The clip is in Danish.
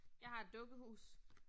Jeg har et dukkehus